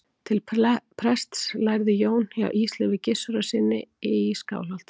til prests lærði jón hjá ísleifi gissurarsyni í skálholti